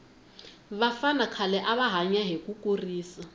vafana khale ava hanya hi kurisa